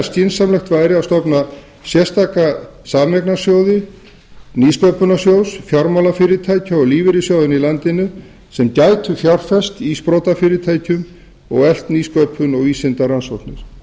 skynsamlegt væri að stofna sérstaka sameignarsjóði nýsköpunarsjóðs fjármálafyrirtækja og lífeyrissjóðanna í landinu sem gætu fjárfest í sprotafyrirtækjum og eflt nýsköpun og vísindarannsóknir